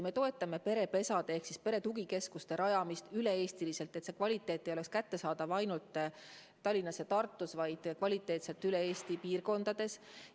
Me toetame perepesade ehk perede tugikeskuste rajamist üle Eesti, et see ei oleks kättesaadav ainult Tallinnas ja Tartus, vaid kvaliteetselt ka Eesti muudes piirkondades.